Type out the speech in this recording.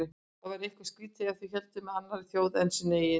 Þau væru eitthvað skrýtin ef þau héldu með annarri þjóð en sinni eigin.